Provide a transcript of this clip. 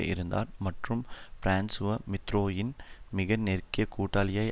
இருந்தார் மற்றும் பிரான்சுவா மித்திரோனின் மிக நெருங்கிய கூட்டாளியாய்